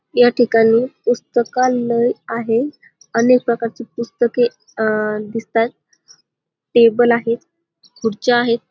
या ठिकणी पुस्तकालंय आहे अनेक प्रकारची पुस्तके अ दिसताहेत टेबल आहेत खुर्च्या आहेत.